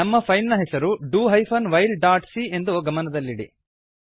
ನಮ್ಮ ಫೈಲ್ ನ ಹೆಸರು do hyphen while dot C ಎಂದು ಗಮನದಲ್ಲಿಡಿ